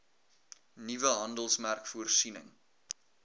nuwe handelsmerk voorsiening